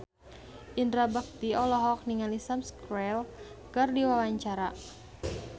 Indra Bekti olohok ningali Sam Spruell keur diwawancara